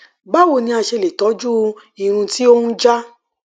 báwo ni a ṣe lè tọjú ìrùn tí ó ń já